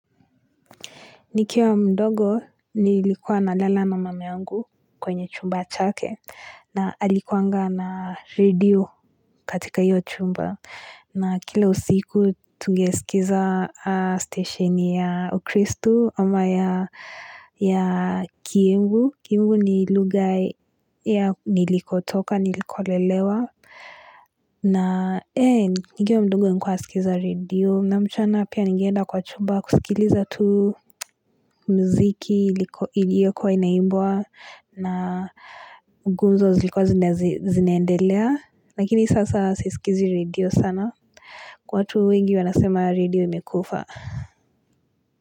Nikiwa mdogo nilikuwa na lala na mama yangu kwenye chumba chake na alikuwanga na redio katika hiyo chumba. Na kila usiku tugesikiza stashini ya kristu ama ya kiembu. Kiembu ni lugha ya nilikotoka, niliko lelewa. Na ee nikiwa mdogo nilikuwa nasikiza redio na mchana pia nigeenda kwa chumba kusikiliza tu muziki iliyokuwa inaimbwa na nguzo zilikuwa zinaendelea lakini sasa sisikizi radio sana. Kwa watu wengi wanasema radio imekufa.